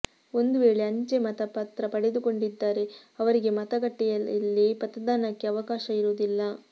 ಒಂದು ವೇಳೆ ಅಂಚೆ ಮತ ಪತ್ರ ಪಡೆದುಕೊಂಡಿದ್ದರೆ ಅವರಿಗೆ ಮತಗಟ್ಟೆಯಲ್ಲಿ ಮತದಾನಕ್ಕೆ ಅವಕಾಶ ಇರುವುದಿಲ್ಲ